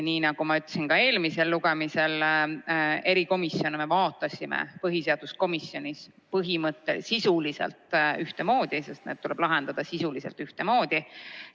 Nii nagu ma ütlesin ka enne, erikomisjone me arutasime põhiseaduskomisjonis põhimõtteliselt sisuliselt ühtemoodi, sest need tuleb lahendada ühtemoodi.